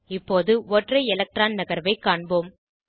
இப்போது ஒற்றை எலக்ட்ரான் நகர்வை காண்போம்